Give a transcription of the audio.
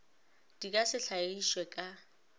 di ka se hlagišwe ka